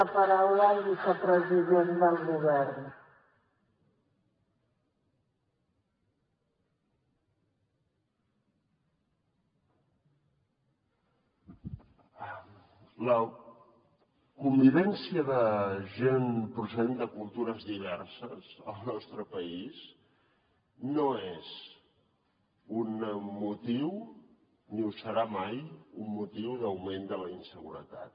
la convivència de gent procedent de cultures diverses al nostre país no és un motiu ni ho serà mai un motiu d’augment de la inseguretat